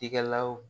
Tikɛlaw